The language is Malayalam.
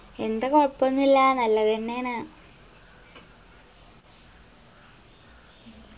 എന്ത് കൊഴപ്പൊന്നുല്ല നല്ലതെന്നേണ്